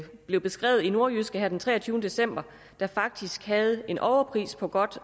blev beskrevet i nordjyske her den treogtyvende december der faktisk havde en overpris på godt